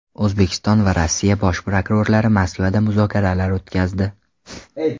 O‘zbekiston va Rossiya Bosh prokurorlari Moskvada muzokaralar o‘tkazdi.